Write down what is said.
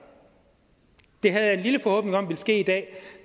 det havde jeg en lille forhåbning om ville ske i dag